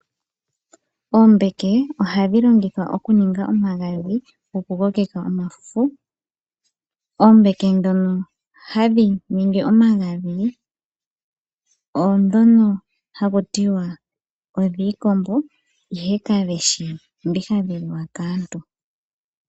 Oombeke ohadhi longithwa okuninga omagadhi gokukoke omafufu. Oombeke ndhoka hadhi longithwa okuninga omagadhi oondhi haku tiwa odhiikombo, ihe kadi shi ndhi hadhi liwa kaantu.